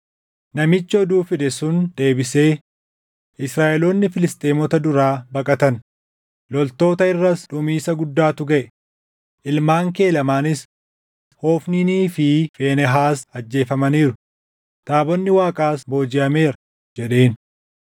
Namichi oduu fide sun deebisee, “Israaʼeloonni Filisxeemota duraa baqatan; loltoota irras dhumiisa guddaatu gaʼe; ilmaan kee lamaanis Hofniinii fi Fiinehaas ajjeefamaniiru; taabonni Waaqaas boojiʼameera” jedheen.